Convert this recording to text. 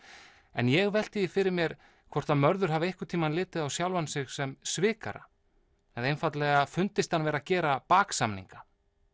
en ég velti því fyrir mér hvort Mörður hafi einhvern tíma litið á sjálfan sig sem svikara eða einfaldlega fundist hann vera að gera baksamninga